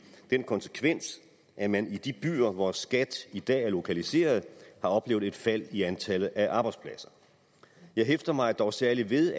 den konsekvens at man i de byer hvor skat i dag er lokaliseret har oplevet et fald i antallet af arbejdspladser jeg hæfter mig dog særligt ved